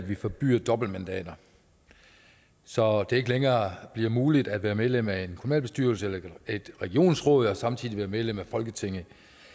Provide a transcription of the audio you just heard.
at vi forbyder dobbeltmandater så det ikke længere bliver muligt at være medlem af en kommunalbestyrelse eller et regionsråd og samtidig være medlem af folketinget